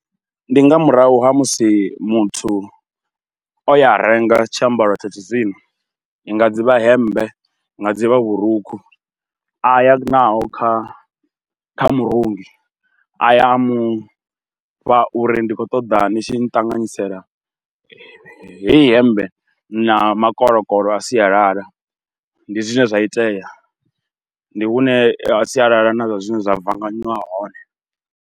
Ndi nga murahu ha musi muthu o ya a renga tshiambaro tsha tshizwino, i nga dzi vha hemmbe, i nga dzi vha vhurukhu a ya naho kha murungi, a ya a mufha uri ndi khou ṱoḓa ni tshi nṱanganyisela heyi hemmbe na makoloko a sialala. Ndi zwine zwa itea, ndi hune sialala na zwazwino zwa vanganyiwa hone.